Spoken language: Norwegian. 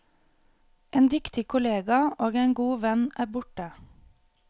En dyktig kollega og en god venn er borte.